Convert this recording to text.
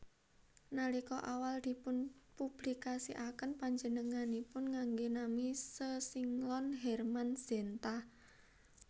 Nalika awal dipun publikasiaken panjenenganipun nganggé nami sesinglon Hermann Zenta